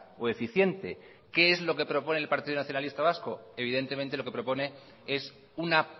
o eficiente qué es lo que propone el partido nacionalista vasco evidentemente lo que propone es una